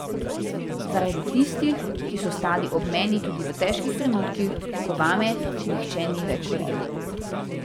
Tudi zaradi tistih, ki so stali ob meni tudi v težkih trenutkih, ko vame nihče ni več verjel.